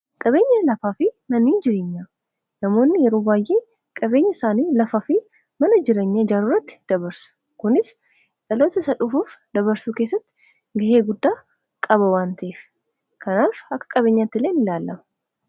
Qabeenya lafaa fi Mannii jireenyaa namoonni yeroo baay'ee qabeenya isaanii lafaa fi mana jiranya jaaruurratti dabarsu kunis dhaloota isaa dhufuuf dabarsuu keessatti gahee guddaa qaba wantiif kanaaf akka qabeenyaatti ileein ilaallama.